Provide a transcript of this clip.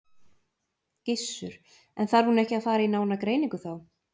Gissur: En þarf hún ekki að fara í nána greiningu þá?